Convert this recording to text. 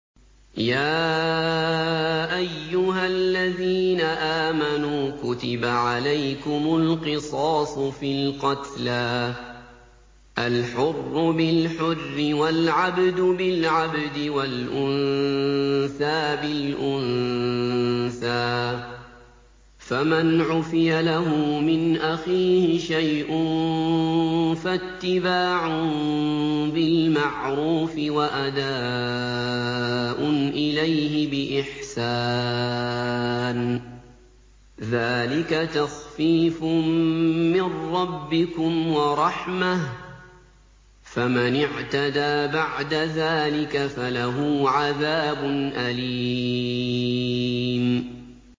يَا أَيُّهَا الَّذِينَ آمَنُوا كُتِبَ عَلَيْكُمُ الْقِصَاصُ فِي الْقَتْلَى ۖ الْحُرُّ بِالْحُرِّ وَالْعَبْدُ بِالْعَبْدِ وَالْأُنثَىٰ بِالْأُنثَىٰ ۚ فَمَنْ عُفِيَ لَهُ مِنْ أَخِيهِ شَيْءٌ فَاتِّبَاعٌ بِالْمَعْرُوفِ وَأَدَاءٌ إِلَيْهِ بِإِحْسَانٍ ۗ ذَٰلِكَ تَخْفِيفٌ مِّن رَّبِّكُمْ وَرَحْمَةٌ ۗ فَمَنِ اعْتَدَىٰ بَعْدَ ذَٰلِكَ فَلَهُ عَذَابٌ أَلِيمٌ